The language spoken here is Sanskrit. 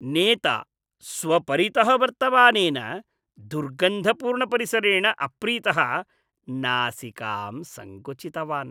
नेता, स्वपरितः वर्तमानेन दुर्गन्धपूर्णपरिसरेण अप्रीतः नासिकां सङ्कुचितवान्।